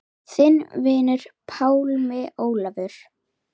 Þinn vinur, Pálmi Ólafur.